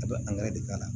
A bɛ de k'a la